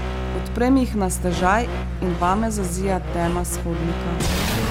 Odprem jih na stežaj in vame zazija tema s hodnika.